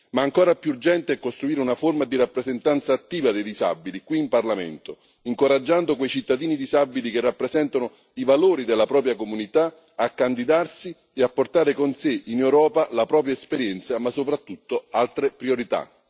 Ma ancora più urgente è costruire una forma di rappresentanza attiva dei disabili qui in Parlamento, incoraggiando quei cittadini disabili che rappresentano i valori della propria comunità a candidarsi e a portare con sé in Europa la propria esperienza ma soprattutto altre priorità.